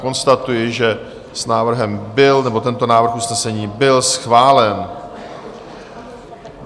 Konstatuji, že s návrhem byl... nebo tento návrh usnesení byl schválen.